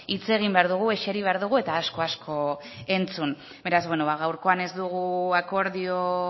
hitz egin behar dugu eseri behar dugu eta asko asko entzun beraz gaurkoan ez dugu akordio